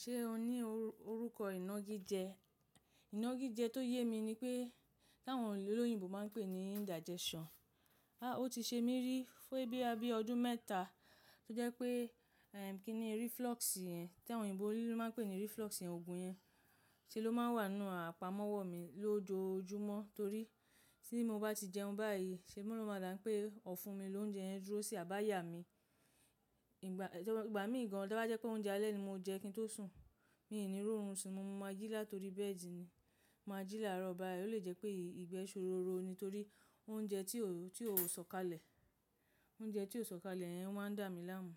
Ṣé o ní orúkọ iná gíjé? Iná gíjé tó yé mi ni pé táwọn olóyìnbo ma ń pè ní indigestion. A ó ti ṣe mí rí fún ẹbí abẹ́ ọdún mẹ́ta tó jẹ́ pé eh kí ni reflux yẹn tí àwọn òyìnbó olóyúnbo ma ń pè ní reflux yẹn, ogun yẹn ṣe ló ma wà nínú àpamọ́wọ́ mi lójoojúmọ́ torí tí mo bá ti jẹun báyìí ṣe mọ́ra máa dà pé ọ̀ fún mi lóúnjẹ yẹn dúró sí àbáyà mi. Ìgbà m ìgbà mí gan an tí bá jẹ́ pé oúnjẹ alẹ́ ni mo jẹ kí n tó sùn, mi ò ní rí oorun sùn, mo máa jí láti torí bẹ́ẹ̀dìí ni, máa jí láàárọ̀ báyìí ó lè jẹ́ pé ìgbẹ́ ṣòro ro ni torí oúnjẹ tí ó tí ó sọ̀kalẹ̀ oúnjẹ tí ó sọ̀kalẹ̀ yẹn maa ń dà mí láàmú.